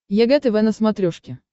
егэ тв на смотрешке